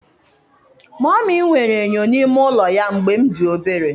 Mummy nwere enyo n'ime ụlọ ya mgbe m dị obere.